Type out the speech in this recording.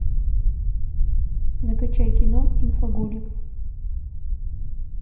закачай кино инфоголик